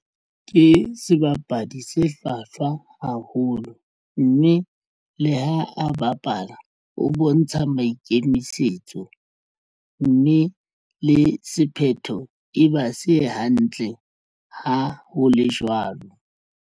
Ke sebapadi se hlwahlwa haholo mme le ha a bapala o bontsha maikemisetso mme le sephetho e ba se hantle ha ho le jwalo.